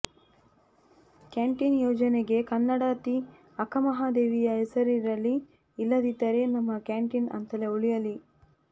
canteen ಯೋಜನೆಗೆ ಕನ್ನಡತಿ ಅಕ್ಕಮಹಾದೇವಿಯ ಹೆಸರಿರಲಿ ಇಲ್ಲದಿದ್ದರೆ ನಮ್ಮ ಕ್ಯಾಂಟೀನ್ ಅಂತಲೇ ಉಳಿಯಲಿ